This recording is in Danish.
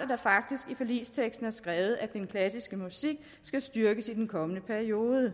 at der faktisk i forligsteksten er skrevet at den klassiske musik skal styrkes i den kommende periode